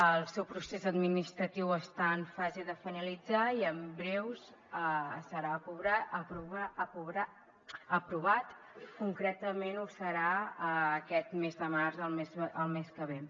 el seu procés administratiu està en fase de finalitzar i en breu serà aprovat concretament ho serà aquest mes de març el mes que ve